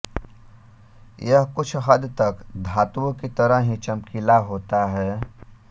यह कुछ हद तक धातुओं की तरह ही चमकीला होता है